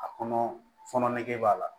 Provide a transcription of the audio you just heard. A kɔnɔ fɔnɔ nege b'a la